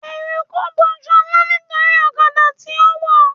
Eruku bo ṣọlá nítorí ọ̀kadà tí ó wọ̀